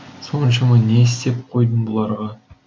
соншама не істеп қойдым бұларға